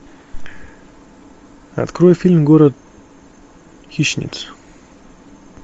открой фильм город хищниц